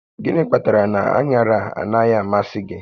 Gịnị kpatara na aṅaraanaghị amasị gị?